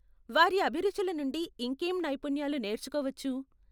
వారి అభిరుచుల నుండి ఇంకేం నైపుణ్యాలు నేర్చుకోవచ్చు?